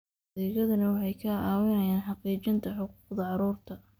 Adeegyadani waxay ka caawinayaan xaqiijinta xuquuqda carruurta.